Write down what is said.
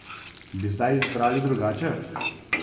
Bi zdaj izbrali drugače?